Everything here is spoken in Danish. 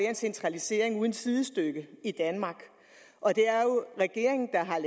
en centralisering uden sidestykke i danmark og det er regeringen der har